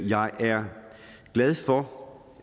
jeg er glad for